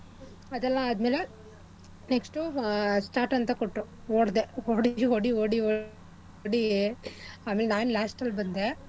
ಅದೆಲ್ಲ ಆದ್ಮೇಲೆ next ಉ ಆ start ಅಂತ ಕೊಟ್ರು ಓಡ್ದೆ ಓಡಿ ಓಡಿ ಓಡಿ ಓಡಿ ಆಮೇಲ್ ನಾನ್ last ಅಲ್ ಬಂದೆ